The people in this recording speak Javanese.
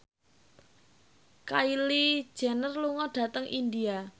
Kylie Jenner lunga dhateng India